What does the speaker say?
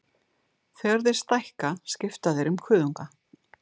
Þegar þeir stækka skipta þeir um kuðunga.